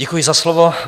Děkuji za slovo.